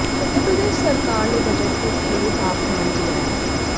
उत्तर प्रदेश सरकार ने बजट में इसके लिए प्रावधान किया है